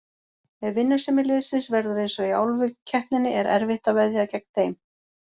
Ef vinnusemi liðsins verður eins og í Álfukeppninni er erfitt að veðja gegn þeim.